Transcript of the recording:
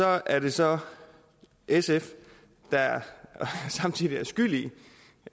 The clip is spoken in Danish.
er det så sf der samtidig er skyld i